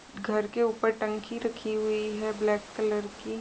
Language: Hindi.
घर के ऊपर टंकी रखी हुई है ब्लैक कलर की।